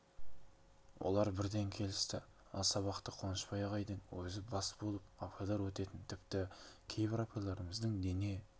олар бірден келісті ал сабақты қуанышбай ағайдың өзі бас болып апайлар өтетін тіпті кейбір апайларымыздың дене